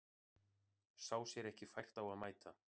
Sá sér ekki fært á að mæta